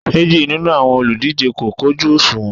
Méjì nínú àwọn olùdíje kò kojú òṣùwọ̀n